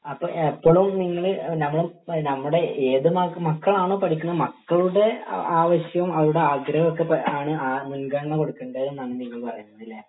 അപ്പൊ എപ്പോളും നിങ്ങള് നമ്മ നമ്മടെ ഏത് മക്കളാണോ പഠിക്കുന്നത് മക്കളുടെ ആവശ്യോം അവരുടെ ആഗ്രഹം ഒക്കെ ആണ് മുൻഗണന കൊടുക്കണ്ടെ എന്നാണ് നിങ്ങൾ പറയുന്നേ അല്ലെ